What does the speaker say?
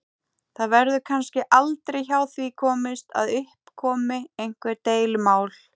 Það verður kannski aldrei hjá því komist að upp komi einhver deilumál.